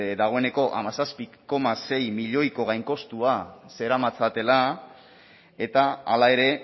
dagoeneko hamazazpi koma sei milioiko gainkostua zeramatzatela eta hala ere